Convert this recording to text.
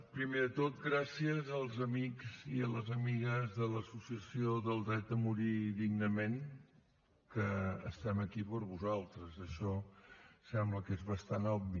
primer de tot gràcies als amics i a les amigues de l’associació dret a morir dignament que estem aquí per vosaltres això sembla que és bastant obvi